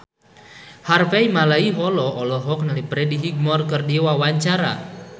Harvey Malaiholo olohok ningali Freddie Highmore keur diwawancara